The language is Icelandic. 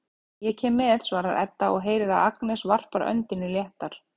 Ég kem með, svarar Edda og heyrir að Agnes varpar öndinni léttar.